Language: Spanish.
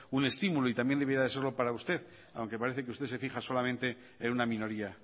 un estímulo y también debiera de serlo para usted aunque parece que usted se fija solamente en una minoría